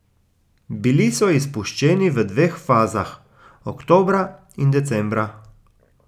Bili so izpuščeni v dveh fazah, oktobra in decembra.